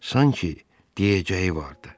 Sanki deyəcəyi vardı.